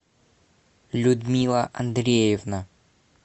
людмила андреевна